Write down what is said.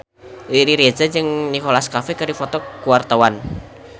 Riri Reza jeung Nicholas Cafe keur dipoto ku wartawan